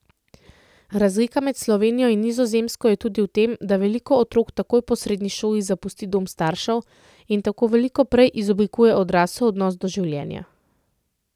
Razlika med Slovenijo in Nizozemsko je tudi v tem, da veliko otrok takoj po srednji šoli zapusti dom staršev in tako veliko prej izoblikuje odrasel odnos do življenja.